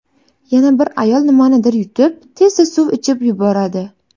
Yana bir ayol nimanidir yutib, tezda suv ichib yuboradi.